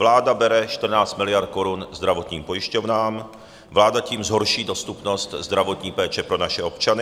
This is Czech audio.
Vláda bere 14 miliard korun zdravotním pojišťovnám, vláda tím zhorší dostupnost zdravotní péče pro naše občany.